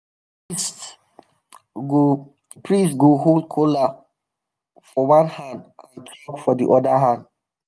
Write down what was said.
priest go priest go hold kola for one hand and chalk for the other hand.